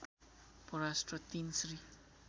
परराष्ट्र ३ श्री